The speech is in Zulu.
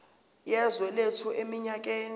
yezwe lethu eminyakeni